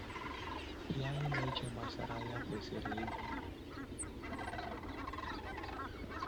Ihe anyị na-eche gbasara ya kwesịrị ịdị na ịbụ ezigbo agbata obi.